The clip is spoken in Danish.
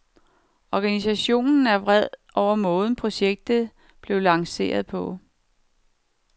Organisationen er vred over måden, projektet blev lanceret på.